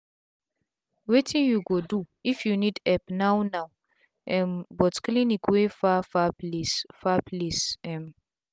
wetin u go do if u nid epp now now um but cliniywey far far place far place um